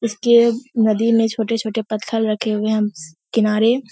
इसके नदी में छोटे-छोटे पत्थर रखे हुए है किनारे --